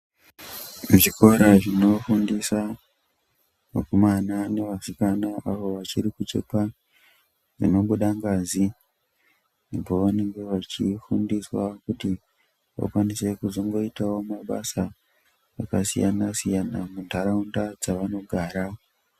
Muzvikora zvinofundisa vakomana nevasikana avovachiri kuchekwa dzinobuda ngazi pavanenge vachifundiswa kuti vakwanise kuzoita mabasa akasiyana siyana muntaraunda dzavanogara.